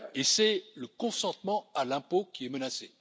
Et c'est le consentement à l'impôt qui est menacé.